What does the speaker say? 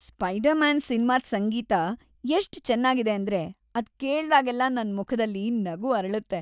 Spider Man ಸಿನ್ಮಾದ್ ಸಂಗೀತ ಎಷ್ಟ್ ಚೆನ್ನಾಗಿದೆ ಅಂದ್ರೆ ಅದ್‌ ಕೇಳ್ದಾಗೆಲ್ಲ ನನ್‌ ಮುಖದಲ್ಲಿ ನಗು ಅರಳತ್ತೆ.